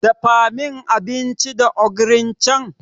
Dafa min abinci da ogirin can.